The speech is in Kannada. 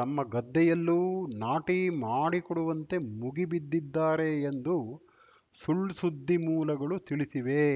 ತಮ್ಮ ಗದ್ದೆಯಲ್ಲೂ ನಾಟಿ ಮಾಡಿಕೊಡುವಂತೆ ಮುಗಿಬಿದ್ದಿದ್ದಾರೆ ಎಂದು ಸುಳ್‌ಸುದ್ದಿ ಮೂಲಗಳು ತಿಳಿಸಿವೆ